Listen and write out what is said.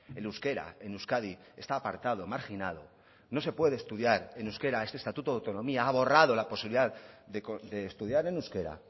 el euskera en euskadi está apartado marginado no se puede estudiar en euskera este estatuto de autonomía ha borrado la posibilidad de estudiar en euskera